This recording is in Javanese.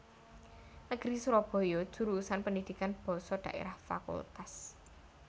Negeri Surabaya Jurusan Pendidikan Basa Daerah Fak